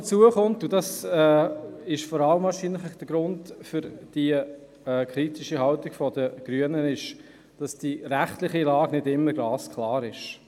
Hinzu kommt – und das führt primär zur kritischen Haltung der Grünen – dass die rechtliche Lage nicht immer ganz klar ist.